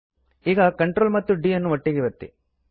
ಈಗ Ctrl ಮತ್ತು d ಅನ್ನು ಒಟ್ಟಿಗೆ ಒತ್ತಿ